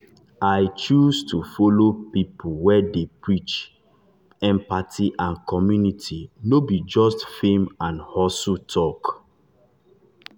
i choose to follow people wey dey preach dey preach empathy and community no be just fame and hustle talk.